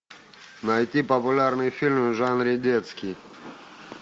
найти популярные фильмы в жанре детский